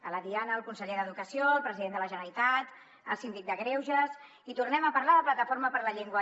a la diana el conseller d’educació el president de la generalitat el síndic de greuges i tornem a parlar de plataforma per la llengua